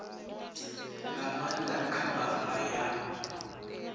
nga maanda kha bannga ya